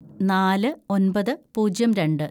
നാല് ഒന്‍പത് പൂജ്യം രണ്ട്‌